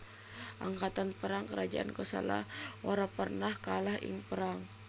Angkatan perang kerajaan Kosala ora pernah kalah ing perang